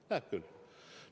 Näeb küll!